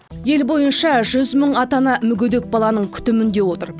ел бойынша жүз мың ата ана мүгедек баланың күтімінде отыр